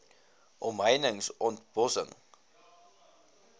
omheinings ont bossing